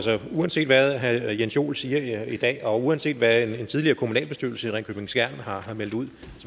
uanset hvad herre jens joel siger i dag og uanset hvad en tidligere kommunalbestyrelse i ringkøbing skjern har meldt ud